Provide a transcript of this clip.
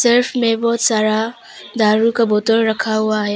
इसमें बहुत सारा दारू का बोतल रखा हुआ है।